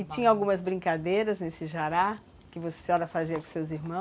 E tinha algumas brincadeiras nesse jará que a senhora fazia com os seus irmãos?